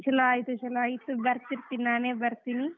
ಚುಲೋ ಆಯಿತು, ಚುಲೋ ಆಯ್ತು ಬರ್ತಿರ್ತೀನಿ ನಾನೇ ಬರ್ತೀನಿ.